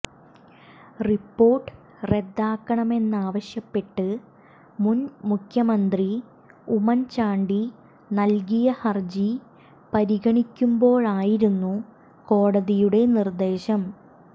report റദ്ദാക്കണമെന്നാവശ്യപ്പെട്ട് മുന് മുഖ്യമന്ത്രി ഉമ്മന് ചാണ്ടി നല്കിയ ഹര്ജി പരിഗണിക്കുമ്പോഴായിരുന്നു കോടതിയുടെ നിര്ദേശം